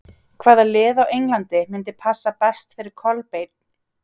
Hvaða lið á Englandi myndi passa best fyrir Kolbeinn?